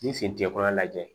N'i sen tigɛ fɔlɔ lajɛ